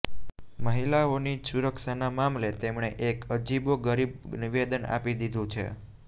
મહિલાઓની સુરક્ષાના મામલે તેમણે એક અજીબો ગરીબ નિવેદન આપી દીધું છે